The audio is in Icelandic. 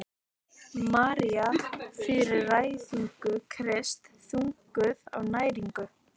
Maríu fyrir fæðingu Krists: þunguð af næringu.